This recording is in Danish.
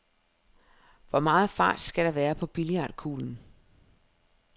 Hvor meget fart skal der være på billiardkuglen?